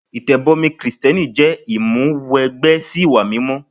Ìtẹ̀bọmi Kristẹni jẹ́ ìmúwẹgbẹ́ sí ìwà mímọ́.